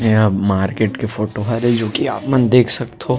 इहा मार्केट के फोटो हरे जो आपमन देख सकथो --